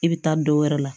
I bɛ taa dɔ wɛrɛ la